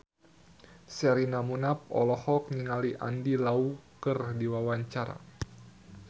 Sherina Munaf olohok ningali Andy Lau keur diwawancara